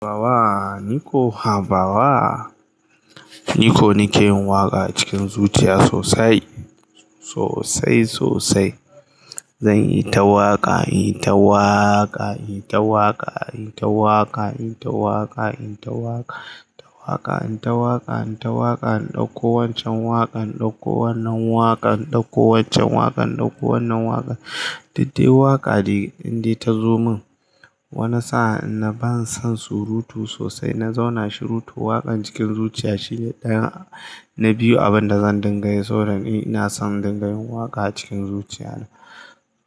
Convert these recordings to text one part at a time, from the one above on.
Habawa, niko habawa. Niko nake yin waƙa cikin zuciya sosai, sosai sosai. Zanyi ta waƙa, inyi ta waƙa, inyi ta waƙa, inyi ta waƙa, inyi ta waƙa, inyi ta waƙa, inyi ta waƙa, inyi ta waƙa, inyi ta waƙa, in ɗauko wancan waƙan, in ɗauko wannan waƙan, in ɗauko wancan waƙan, in ɗauko wannan waƙan. Diddewa waƙa ne indai ya zo min. Wani sa'a ina ban son surutu sosai. Na zauna shirutu. Waƙan cikin zuciya shine ɗaya na biyu abin da zan dingaye. So dana ina son dangantakar waƙa a cikin zuciya.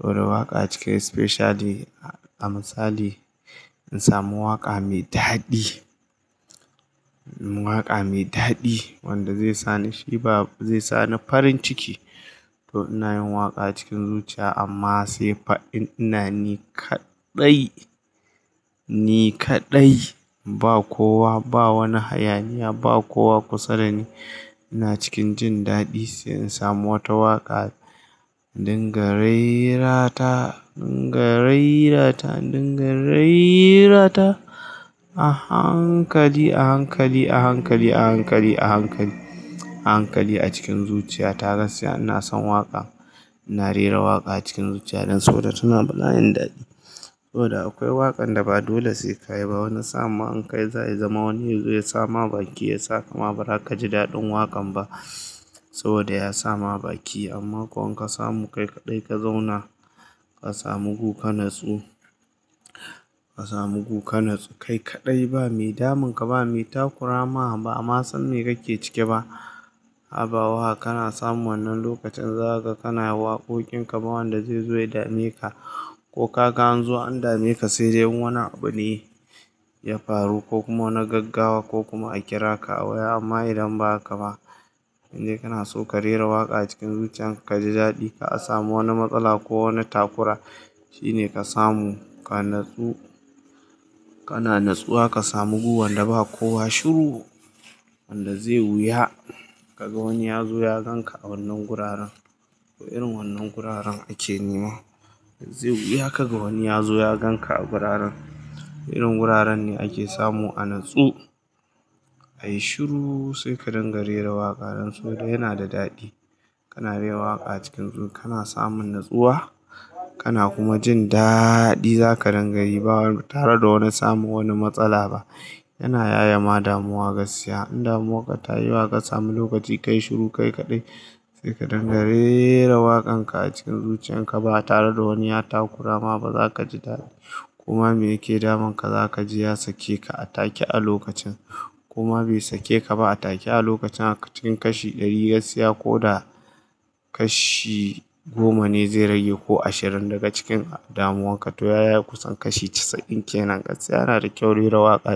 So da waƙa a cike specially a misali, in samu waƙa mai daɗi, waƙa mai daɗi wanda zai sa ni sheba, zai sa ni farin ciki. To ina yin waƙa cikin zuciya amma sai fa'in ina ni kaɗai, ni kaɗai. Ba kowa, ba wani hayaniya, ba kowa kusa dani. Ina cikin jin daɗi sai in samu wata waƙa in dingare ra ta, in dingare ra ta, in dingare ra ta a hankali, a hankali, a hankali, a hankali, a hankali, a hankali a cikin zuciya. Ta gaskiya ina son waƙa. Ina rera waƙa a cikin zuciya don so da tana bani daɗi. So da akwai waƙan da ba dole sai ka yiba. Wani sa'a ma in kai za ya zama wani ya zo ya sa mabaki, ya sa kama ba za ka ji daɗin waƙan ba saboda ya sa mabaki. Amma ko in ka samu kai kaɗai ka zauna, ka samu gu, ka natsu, ka samu gu, ka natsu. Kai kaɗai ba mai damunka, ba mai takurama ba amma san me kake ciki ba. Habawa kana samun wannan lokacin zagaka kana waƙoƙin ka ba wanda zai zo ya dame ka. Ko ka gan zo an dame ka sai dai wani abu ne ya faru ko kuma wani gaggawa ko kuma a kira ka a waya amma idan ba haka ba, inda kana so ka rera waƙa cikin zuciya, ka ji daɗi, ka a samu wani matsala ko wani takura shine ka samu, ka natsu, kana natsuwa ka samu gu wanda ba kowa shiru. Wanda zai wuya kaga wani ya zo ya ganka a wannan guraren. Irin wannan guraren ake nema. Zai wuya kaga wani ya zo ya ganka a guraren. Irin guraren ne ake samu a natsu. Ayi shiru sai ka dangare ra waƙa don so da yana da daɗi. Kana rera waƙa cikin zuciya kana samun natsuwa kana kuma jin daɗi. Zaka dingayi ba tare da wani samu wani matsala ba. Yana ya ya ma damuwa gaskiya. In damuwa ka tayi yawa ƙa samu lokaci kayi shiru kai kaɗai sai ka dingare ra waƙan ka a cikin zuciya. In ka ba tare da wani ya takurama ba, za ka ji daɗi. Kuma me yake damunka za ka ji ya sake ka a take a lokacin. Kuma bai sake ka ba a take a lokacin a cikin kashi ɗari gaskiya ko da kashi goma ne zai rage ko ashirin daga cikin damuwarka. To ya ya kusan kashi casa'in kenan gaskiya. Yana da kyau rera waƙa.